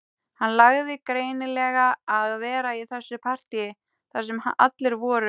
Hann langaði greinilega að vera í þessu partíi þar sem allir voru